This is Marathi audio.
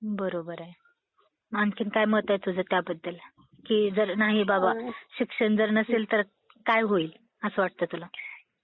बरोबर आहे. आणखीन काय मत आहे तुझं त्याबद्दल की जर नाही बाबा शिक्षण जर नसेल तर काय होईल, असं वाटतं तुला?